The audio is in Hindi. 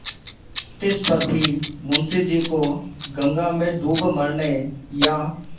तिस पर भी मुंशी जी को गंगा में डूब मरने या